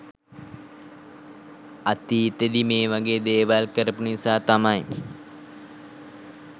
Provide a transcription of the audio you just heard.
අතීතෙදි මේ වගේ දේවල් කරපු නිසා තමයි